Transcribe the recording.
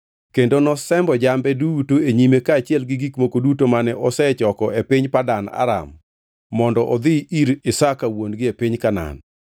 kendo nosembo jambe duto e nyime kaachiel gi gik moko duto mane osechoko e piny Padan Aram, mondo odhi ir Isaka wuon-gi e piny Kanaan.